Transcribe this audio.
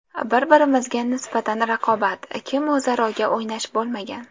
Bir-birimizga nisbatan raqobat, kim o‘zarga o‘ynash bo‘lmagan.